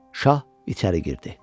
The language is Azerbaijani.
Şah içəri girdi.